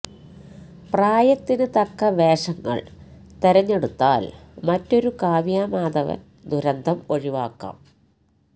പ്രായത്തിന് തക്ക വേഷങ്ങള് തെരഞ്ഞെടുത്താല് മറ്റൊരു കാവ്യാ മാധവന് ദുരന്തം ഒഴിവാക്കാം